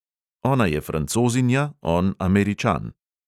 Ona je francozinja, on američan.